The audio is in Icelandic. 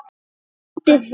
Haldið heim